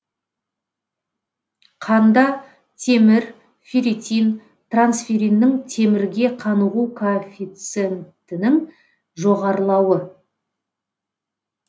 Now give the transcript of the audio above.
қанда темір ферритин трансферриннің темірге қанығу коэффициентінің жоғарылауы